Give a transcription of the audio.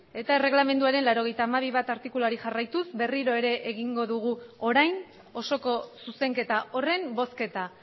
eta erregelamenduaren laurogeita hamabi puntu bat artikuluari jarraituz berriro ere egingo dugu orain osoko zuzenketa horren bozketa